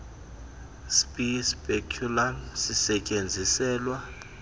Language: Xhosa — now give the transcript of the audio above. si speculum sisestyenziselwa